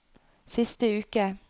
siste uke